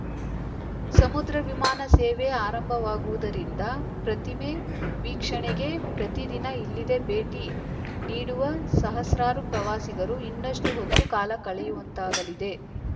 ಸಮುದ್ರ ವಿಮಾನ ಸೇವೆ ಆರಂಭವಾಗುವುದರಿಂದ ಪ್ರತಿಮೆ ವೀಕ್ಷಣೆಗೆ ಪ್ರತಿದಿನ ಇಲ್ಲಿ ಇದೆ ಭೇಟಿ ನೀಡುವ ಸಹಸ್ರಾರು ಪ್ರವಾಸಿಗರು ಇನ್ನಷ್ಟುಹೊತ್ತು ಕಾಲ ಕಳೆಯುವಂತಾಗಲಿದೆ